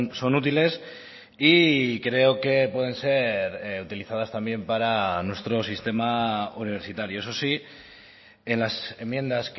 son útiles y creo que pueden ser utilizadas también para nuestro sistema universitario eso sí en las enmiendas